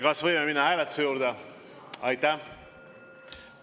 Kas võime minna hääletuse juurde?